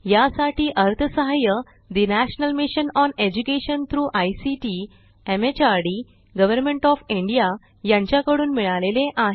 यासाठी अर्थसहाय्य national mission on education through ICT MHRD government of India यांच्याकडून मिळालेले आहे